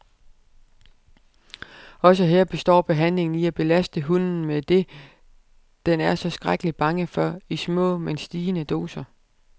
Også her består behandlingen i at belaste hunden med det, den er så skrækkelig bange for, i små, men stigende doser.